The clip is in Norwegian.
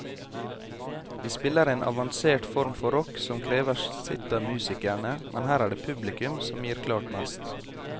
De spiller en avansert form for rock som krever sitt av musikerne, men her er det publikum som gir klart mest.